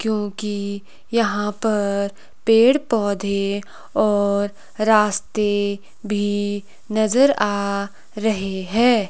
क्योंकि यहां पर पेड़ पौधे और रास्ते भी नज़र आ रहे हैं।